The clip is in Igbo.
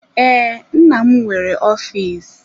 Ee, nna m nwere ọfịs.